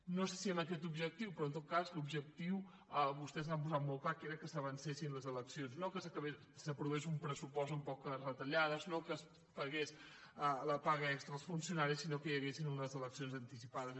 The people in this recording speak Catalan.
no sé si amb aquest objectiu però en tot cas l’objectiu vostès l’han posat molt clar que era que s’avances·sin les eleccions no que s’aprovés un pressupost amb poques retallades no que es pagués la paga extra als funcionaris sinó que hi haguessin unes eleccions anti·cipades